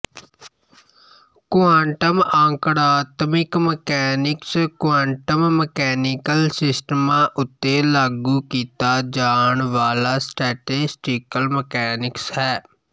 quantum ਆਂਕੜਾਤਮਿਕ mechanics quantum mechanical ਸਿਸਟਮਾਂ ਉੱਤੇ ਲਾਗੂ ਕੀਤਾ ਜਾਣ ਵਾਲਾ ਸਟੈਟਿਸਟੀਕਲ ਮਕੈਨਿਕਸ ਹੈ